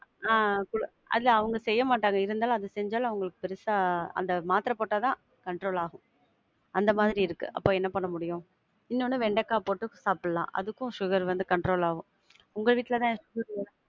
ஆஹ் குடு~ அது அவங்க செய்ய மாட்டாங்க. இருந்தாலும் அத செஞ்சாலும் அவங்களுக்கு பெருசா, அந்த மாத்திர போட்டா தான் control ஆகும். அந்த மாதிரி இருக்கு. அப்போ என்ன பண்ண முடியும்? இன்னொன்னு வெண்டக்கா போட்டு சாப்பிடலாம். அதுக்கும் sugar வந்து control ஆகும். உங்க வீட்ல தான்